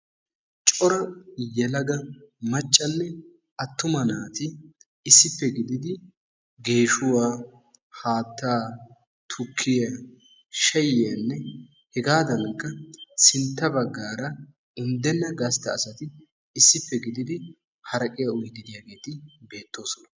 Cora yelaga maccanne attuma naati issippe gididi geeshuwaa, haattaa, tukkiya shayiyanne hegaadankka sintta bagaara unddenaa gastta asati issipe gididi haraqiyaa uyiiddi diyaageeti beettososona.